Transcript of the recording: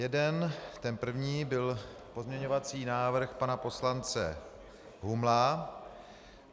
Jeden, ten první, byl pozměňovací návrh pana poslance Humla.